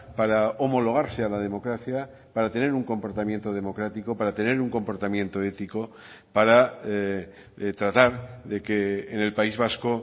para homologarse a la democracia para tener un comportamiento democrático para tener un comportamiento ético para tratar de que en el país vasco